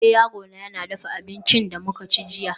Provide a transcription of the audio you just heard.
eh, yarona ya dafa abincin da muka ci jiya